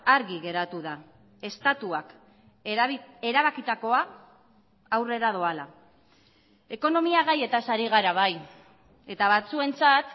argi geratu da estatuak erabakitakoa aurrera doala ekonomia gaietaz ari gara bai eta batzuentzat